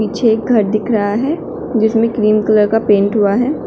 छे घर दिख रहा है जिसमें क्रीम कलर का पेंट हुआ है।